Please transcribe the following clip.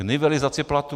K nivelizaci platů.